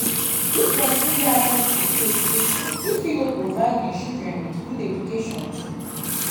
if persin get access to good education im go fit provide im children with good education too